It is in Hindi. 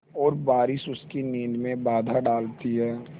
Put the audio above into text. और बारिश उसकी नींद में बाधा डालती है